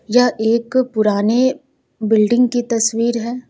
यह एक पुरानी बिल्डिंग की तस्वीर है।